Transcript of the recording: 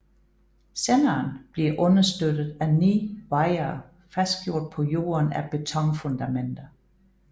Senderen bliver understøttet af 9 wirer fastgjort på jorden af betonfundamenter